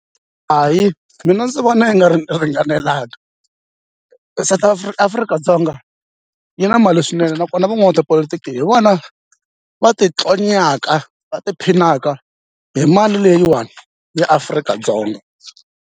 Hayi mina ndzi vona i nga ri ringanelanga South Afrika-Dzonga yi na mali swinene nakona van'watipolotiki hi vona va ti tlonyaka va ti phinaka hi mali leyiwani ya Afrika-Dzonga.